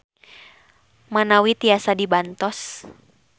Manawi tiasa dibantos.